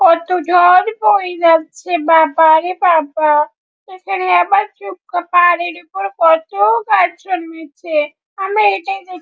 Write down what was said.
কত জল বয়ে যাচ্ছে বাবারে বাবা এখানে আবার ছোট্ট পাহাড়ের উপর কত গাছ জন্মেছে আমরা এটাই দেখ--